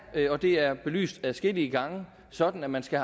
og det er belyst adskillige gange sådan at man skal